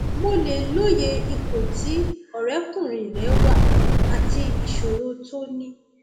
mo lè lóye ipò tí ọrẹkùnrin rẹ wà àti ìṣòro tó ní